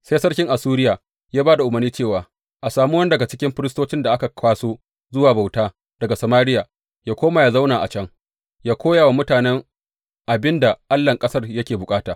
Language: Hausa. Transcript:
Sai sarkin Assuriya ya ba da umarni cewa, A sami wani daga cikin firistocin da aka kwaso zuwa bauta daga Samariya, yă koma yă zauna a can, yă koya wa mutanen abin da allahn ƙasar yake bukata.